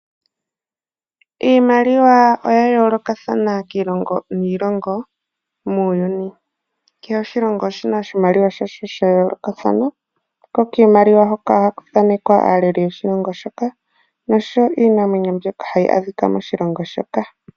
Iimaliwa oya yoolokathana kiilongo niilongo muuyuni, ke he oshilongo oshina oshimaliwa shasho sha yoolokathana, ko kiimaliwa oha ku thaanekwa aaleli yomoshilongo moka, nosho wo iinamwenyo yo moshilongo shoka.